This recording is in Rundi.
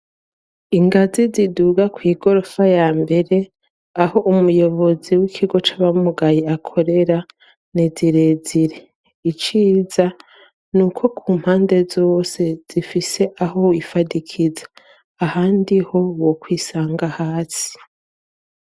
ingazi ziduga kw' igorofa ya mbere aho umuyobozi w'ikigo c'abamugaye akorera ni zirezire iciza nuko ku mpande zose zifise aho wifadikiza ahandi ho wokwisanga hasi